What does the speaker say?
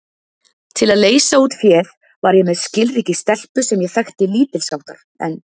Til að leysa út féð var ég með skilríki stelpu sem ég þekkti lítilsháttar en